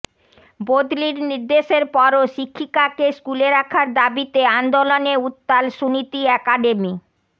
বদলির নির্দেশের পরও শিক্ষিকাকে স্কুলে রাখার দাবিতে অন্দোলনে উত্তাল সুনীতি অ্যাকাডেমি